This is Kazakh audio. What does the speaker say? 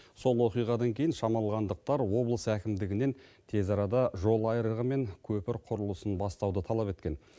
сол оқиғадан кейін шамалғандықтар облыс әкімдігінен тез арада жол айрығы мен көпір құрылысын бастауды талап еткен